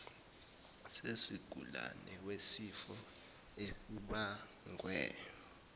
sesigulane wesifo esibagwe